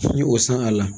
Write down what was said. N ye o san a la